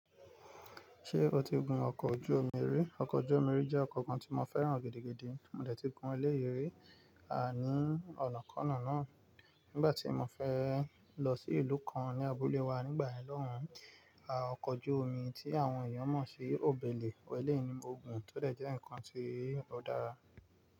Ṣé o ti gun ọkọ̀ ojú omi rí? Ọkọ̀ ojú omi rí jẹ́ ọkọ̀ kan tí mo fẹ́ràn gidi gidi. Mò dẹ̀ ti gun eléyi rí, àní ọ̀nàkọ́nà náà nígbà tí mo fẹ́ lọ sí ìlú kan ní abúlé wa nígbà yen loun. Ọkọ̀ ojú omi tí àwọn èèyàn mọ̀ sí ọbẹ̀lẹ̀ eléyi ni mo gùn tó dẹ̀ jẹ́ ǹkan tí ó dára.